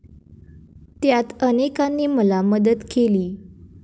त्यात अनेकांनी मला मदत केली.